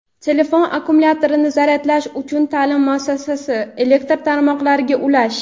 telefon akkumulyatorini zaryadlash uchun ta’lim muassasasi elektr tarmoqlariga ulash;.